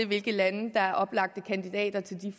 hvilke lande der er oplagte kandidater til de